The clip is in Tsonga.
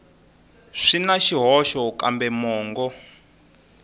swi na swihoxo kambe mongo